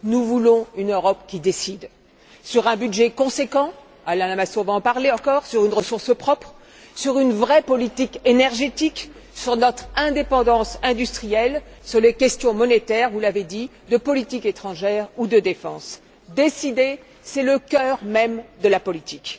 Nous voulons une Europe qui décide sur un budget conséquent Alain Lamassoure va en parler encore sur une ressource propre, sur une vraie politique énergétique, sur notre indépendance industrielle, sur les questions monétaires, de politique étrangère ou de défense. Décider, c'est le cœur même de la politique.